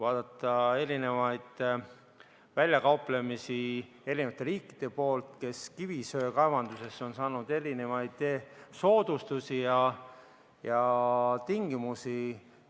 Vaadakem mitmesuguseid väljakauplemisi eri riikide poolt, kes kivisöe kaevandamisel on saanud erinevaid soodustusi ja eritingimusi!